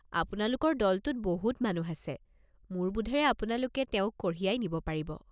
আপোনালোকৰ দলটোত বহুত মানুহ আছে, মোৰ বোধেৰে আপোনালোকে তেওঁক কঢ়িয়াই নিব পাৰিব।